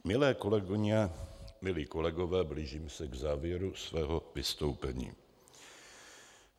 Milé kolegyně, milí kolegové, blížím se k závěru svého vystoupení.